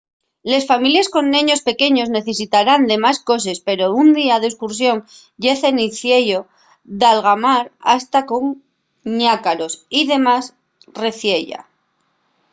les families con neños pequeños necesitarán de más coses pero un día d'escursión ye cenciello d'algamar hasta con ñácaros y demás reciella